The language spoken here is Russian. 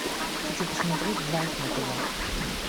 хочу посмотреть драйв на тв